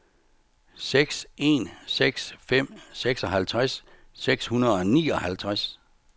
seks en seks fem seksoghalvtreds seks hundrede og nioghalvtreds